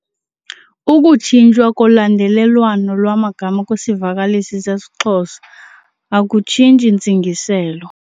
Ukutshintshwa kolandelelwano lwamagama kwisivakalisi seXhosa akutshintshi ntsingiselo.